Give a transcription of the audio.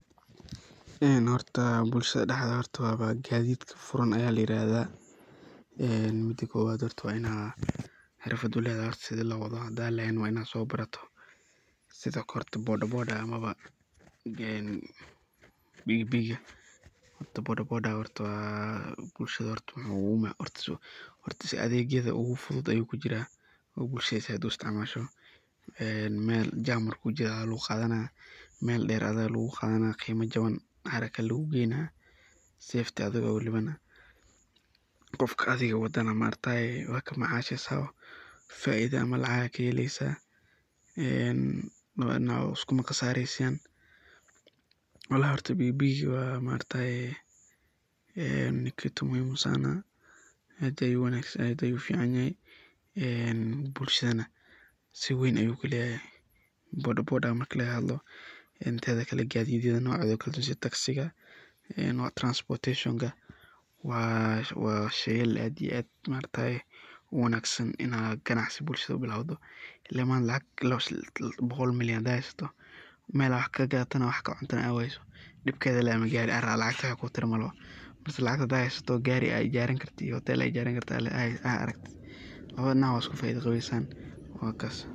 Bulshada daxdedha waa qadidka furan ayaa layirahda oo waa inaa qibrad u ledahay oo so barataa sidhaa lo wadaa. Bodabodaga ama pikipikiga horta bulshada oo adegyada ugu adag ayu kujiraa, bulshada zaid ayey u isticmasha mel jaam marku jiraa lagu qadanaya ,qimo jawan oo haraka lagugeynaya safety adigo ah walibana, qofka adiga wadada waad isku macashesan oo faido ayaad kahelesa oo iskuma qasaresan walahi horta pikipikiga ni kitu muhimu sana zaid ayu u wangsan yahay ,zaid ayu u fican yahay bulshadana muhimad weyn ayu ku leyahay ,bodabodaga marki laga hadlo gadidyada nocoda ayu ukala duwan yahay sidha taksiga transportation waa sheyaal aad iyo aad u wanagsan inaad qanacsi bulshada u bilacdo ,ile maanta lacag boqol milyan hadad heysato oo mel wax qadato ama akcunto aa weyso dibkedey ledahay oo gari racdo, mise lacag heysato oo gari ijaran karto mise hotel aad ijarin karto aad aragto waa labada dhinag waa isku faiddo gaweysan wakaas.